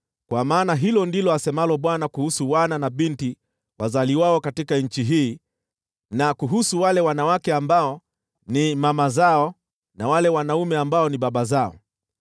Kwa maana hili ndilo asemalo Bwana kuhusu wana na binti wazaliwao katika nchi hii, na kuhusu wale wanawake ambao ni mama zao, na wale wanaume ambao ni baba zao: